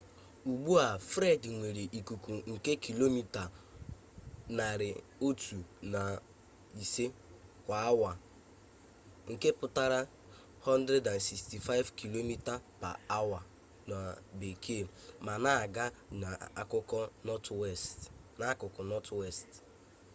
ugbu a fred nwere ikuku nke kilomita 105 kwa awa 165 km/h ma na-aga n'akụkụ nọtwest